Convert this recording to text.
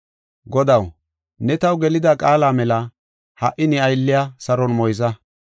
“Godaw ne taw gelida qaala mela, ha77i ne aylliya saron moyza.